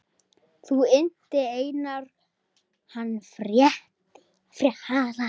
Þá innti Einar hann frétta.